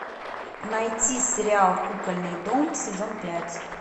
найти сериал кукольный дом сезон пять